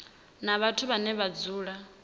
na vhathu vhane vha dzula